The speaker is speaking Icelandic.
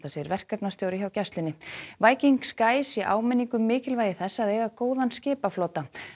segir verkefnastjóri hjá gæslunni Viking sé áminning um mikilvægi þess að eiga góðan skipaflota